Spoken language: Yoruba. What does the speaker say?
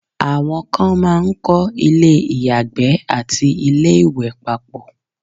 àwọn kan máà ń kọ́ ilé ìyàgbẹ́ àti ilé ìwẹ̀ papọ̀